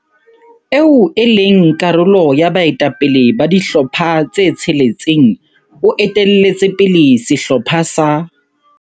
Eo e leng karolo ya baetapele ba dihlopha tse tsheletseng o etelletse pele sehlopha sa.